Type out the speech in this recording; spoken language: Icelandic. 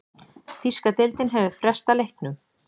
Þýska deildin hefur frestað leiknum.